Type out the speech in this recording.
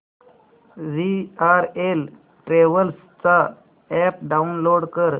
VRL travels चा app download कर